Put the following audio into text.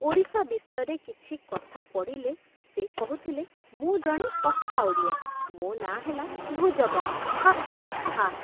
ଓଡ଼ିଶା ବିଷୟରେ କିଛି କଥା ପଡ଼ିଲେ ସେ କହୁଥିଲେ, ମୁଁ ଜଣେ ପକ୍କା ଓଡ଼ିଆ ମୋ ନାଁ ହେଲା ଭୁଜବଳ। ହା ହା ହା